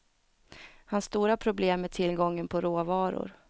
Hans stora problem är tillgången på råvaror.